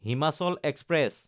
Himachal express